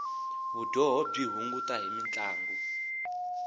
vudyoho byi hunguta hi mintlangu